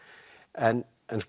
en